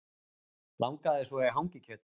Langaði svo í hangikjöt